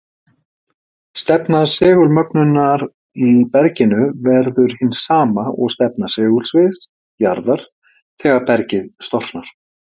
Stefna segulmögnunar í berginu verður hin sama og stefna segulsviðs jarðar þegar bergið storknar.